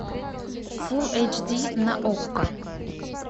фулл эйч ди на окко